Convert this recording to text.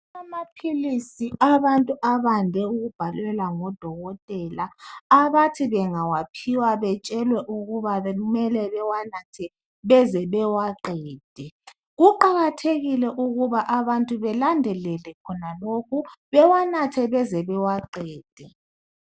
Amaphilisi abantu abande ukubhalelwa ngodokotela abathi bengawaphiwa betshelwe ukuba kumele bewanathe beze bewaqede kuqakathekile ukuba abantu belandelele khona lokhu bewanathe beze bewaqede